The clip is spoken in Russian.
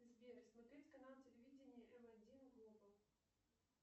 сбер смотреть канал телевидения м один глобал